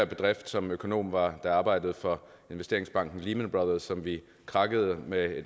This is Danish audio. bedrift som økonom var da jeg arbejdede for investeringsbanken lehman brothers som krakkede med